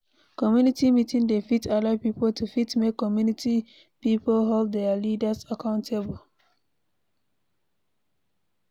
Community meeting dey fit allow pipo to fit make community pipo hold their leaders accountable